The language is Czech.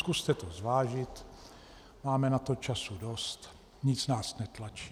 Zkuste to zvážit, máme na to času dost, nic nás netlačí.